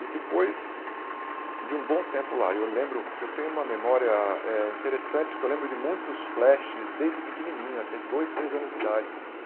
E depois de um bom tempo lá, eu lembro que eu tenho uma memória eh interessante, que eu lembro de muitos flashes desde pequenininho, até dois, três anos de idade.